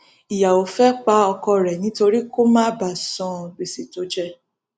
ìyàwó fẹẹ pa ọkọ rẹ nítorí kó má bàa san gbèsè tó jẹ ẹ